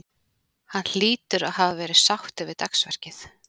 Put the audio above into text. Hann hlýtur að hafa verið sáttur við dagsverkið?